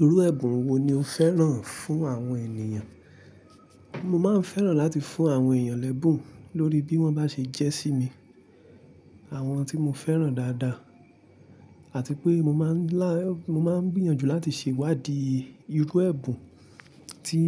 Irú ẹ̀bùn wo ni o fẹ́ràn fún àwọn ènìyàn? Mo máa ń fẹ́ràn láti fún àwọn èèyàn l'ẹ́bùn lórí bí wọ́n bá ṣe jẹ́ sí mi, àwọn tí mo fẹ́ràn dáadáa àti pé mo máa ń ńlá, mo máa ń gbìyànjú láti ṣewadi irú ẹ̀bùn tí